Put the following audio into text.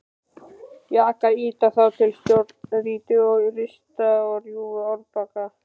Jakar ýta þá til stórgrýti og rista og rjúfa árbakka.